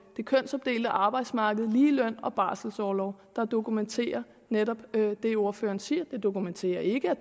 det kønsopdelte arbejdsmarked ligeløn og barselorlov der dokumenterer netop det ordføreren siger det dokumenterer ikke at